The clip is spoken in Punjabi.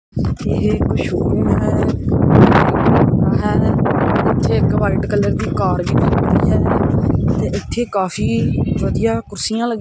ਇਹ ਇੱਕ ਸ਼ੋਰ ਰੂਮ ਹੈ ਇੱਥੇ ਇਕ ਵਾਈਟ ਕਲਰ ਦੀ ਕਾਰ ਵੀ ਖਲੋਤੀ ਹੈ ਤੇ ਇੱਥੇ ਕਾਫ਼ੀ ਵਧੀਆ ਕੁਰਸੀਆਂ ਲੱਗੀ--